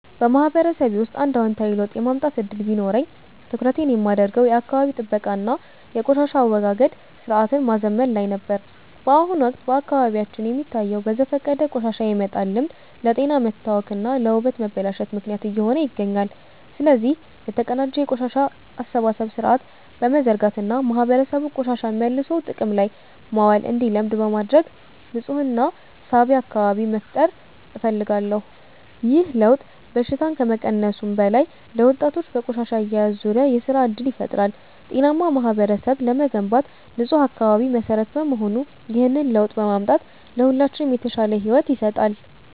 በማህበረሰቤ ውስጥ አንድ አዎንታዊ ለውጥ የማምጣት ዕድል ቢኖረኝ፣ ትኩረቴን የማደርገው የአካባቢ ጥበቃ እና የቆሻሻ አወጋገድ ሥርዓትን ማዘመን ላይ ነበር። በአሁኑ ወቅት በአካባቢያችን የሚታየው በዘፈቀደ ቆሻሻ የመጣል ልማድ ለጤና መታወክ እና ለውበት መበላሸት ምክንያት እየሆነ ይገኛል። ስለዚህ፣ የተቀናጀ የቆሻሻ አሰባሰብ ሥርዓት በመዘርጋት እና ማህበረሰቡ ቆሻሻን መልሶ ጥቅም ላይ ማዋል እንዲለምድ በማድረግ ንፁህና ሳቢ አካባቢ መፍጠር እፈልጋለሁ። ይህ ለውጥ በሽታን ከመቀነሱም በላይ፣ ለወጣቶች በቆሻሻ አያያዝ ዙሪያ የሥራ ዕድል ይፈጥራል። ጤናማ ማህበረሰብ ለመገንባት ንፁህ አካባቢ መሠረት በመሆኑ፣ ይህንን ለውጥ ማምጣት ለሁላችንም የተሻለ ሕይወት ይሰጣል።